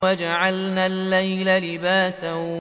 وَجَعَلْنَا اللَّيْلَ لِبَاسًا